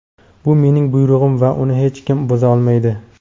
Bu mening buyrug‘im va uni hech kim buza olmaydi.